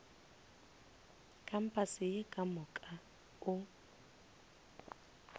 kampase ye ka moka o